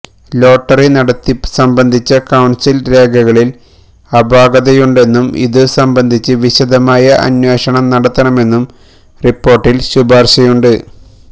lottery നടത്തിപ്പ് സംബന്ധിച്ച council രേഖകളില് അപാകതയുണ്ടെന്നും ഇതു സംബന്ധിച്ച് വിശദമായ അന്വേഷണം നടത്തണമെന്നും റിപ്പോര്ട്ടില് ശുപാര്ശയുണ്ട്